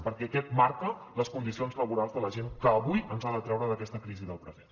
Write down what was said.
perquè aquest marca les condicions laborals de la gent que avui ens ha de treure d’aquesta crisi del present